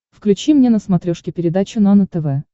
включи мне на смотрешке передачу нано тв